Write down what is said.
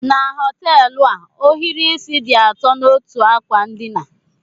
Na họteelụ a, ohiri isí dị atọ n'otú ákwà ndịna.